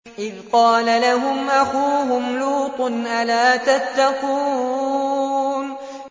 إِذْ قَالَ لَهُمْ أَخُوهُمْ لُوطٌ أَلَا تَتَّقُونَ